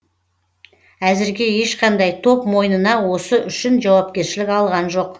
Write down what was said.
әзірге ешқандай топ мойнына осы үшін жауапкершілік алған жоқ